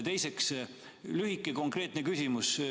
Ja teiseks, lühike konkreetne küsimus.